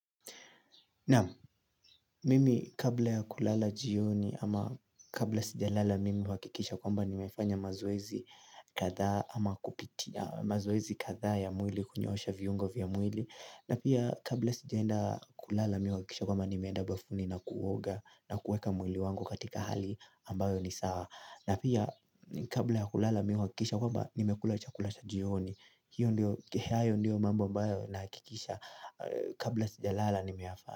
Naam, mimi kabla ya kulala jioni ama kabla sija lala mimi huakikisha kwamba nimefanya mazoezi kadhaa ama kupitia mazoezi kadhaa ya mwili kunyoosha viungo vya mwili na pia kabla sijaenda kulala mimi huakikisha kwamba nimeenda bafuni na kuoga na kuweka mwili wangu katika hali ambayo ni sawa na pia kabla ya kulala mimi huakikisha kwamba nimekula chakula cha jioni hiyo ndiyo mambo ambayo nahakikisha kabla sija lala nimefanya.